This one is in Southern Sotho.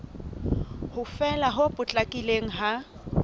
ho fela ho potlakileng ha